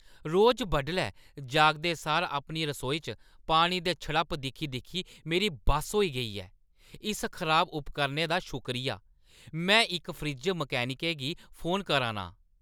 रोज बड्डलै जागदे सार अपनी रसोई च पानी दे छप्पड़ दिक्खी-दिक्खी मेरी बस होई गेई ऐ । इस खराब उपकरणै दा शुक्रिया! मैं इक फ्रिज मैकेनिकै गी फोन करा ना आं।